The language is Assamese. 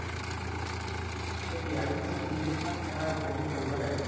সেইটোয়ে আমি গোটেই পৃথিৱীখন এবাৰ উপভোগ কৰিব লাগে